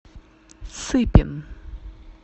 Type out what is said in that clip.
сыпин